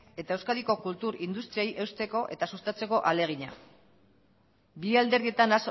eta euskadiko kultur industriei eusteko eta sustatzeko ahalegina bi alderdietan